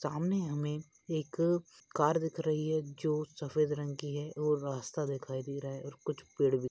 सामने हमे एक कार दिख रही है जो सफ़ेद रंग की है और रास्ता दिखाइ दे रहा है और कुछ पेड़ भी।